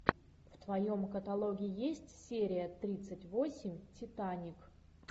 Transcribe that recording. в твоем каталоге есть серия тридцать восемь титаник